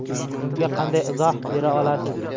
Bunga qanday izoh bera olasiz?